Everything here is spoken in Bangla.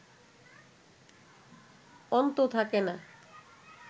অন্ত থাকে না